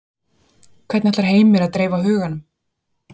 Hvernig ætlar Heimir að dreifa huganum?